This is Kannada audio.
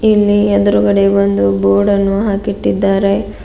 ಇಲ್ಲಿ ಎದುರುಗಡೆ ಒಂದು ಬೋರ್ಡನ್ನು ಹಾಕಿಟ್ಟಿದರೆ.